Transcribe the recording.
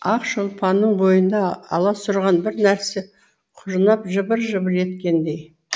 ақшолпанның бойында аласұрған бір нәрсе құжынап жыбыр жыбыр еткендей